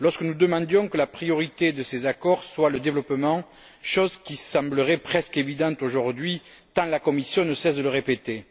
lorsque nous demandions que la priorité de ces accords soit le développement, chose qui semblerait presque évidente aujourd'hui, tant la Commission ne cesse de le répéter.